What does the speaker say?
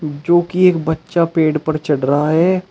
जो कि एक बच्चा पेड़ पर चढ़ रहा है।